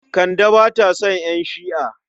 Kande ba ta son ƴan Shi'a.